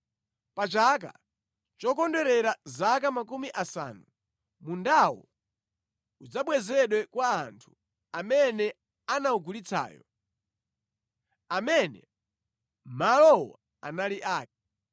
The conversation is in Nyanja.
Pa chaka chokondwerera zaka makumi asanu, mundawo udzabwezedwa kwa munthu amene anawugulitsayo, amene malowo anali ake.